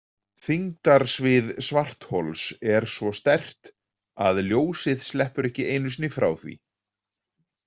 Þyngdarsvið svarthols er svo sterkt að ljósið sleppur ekki einu sinni frá því.